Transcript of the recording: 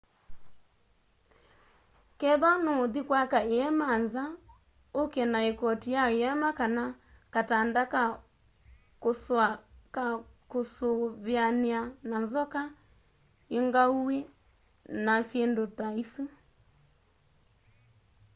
kethwa nûûthi kwaka îema nza ûke na îkoti ya îema kana katanda ka kûsûa ka kûûsûvîanîa na nzoka ingauwî na syîndû ta isu